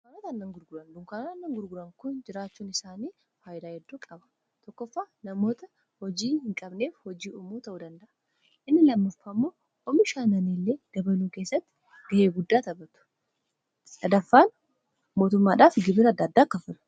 dukanta ana gurguran dunkaanaot anna gurguran kun jiraachuun isaanii faayilaa heddoo qaba tokkofaa namoota hojii hin qabneef hojii uumoota hoo danda'a inni lammaffa ammoo omishaananii illee gabaluu keessatti ga'ee guddaa taatuaaffaan mootummaadhaa f gibira addaaddaakka fura